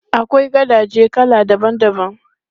Akwai gadaje kala daban daban.